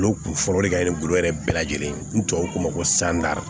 Olu kun fɔlɔ de ka kɛ bolo yɛrɛ bɛɛ lajɛlen ye ni tubabuw k'o ma ko sanda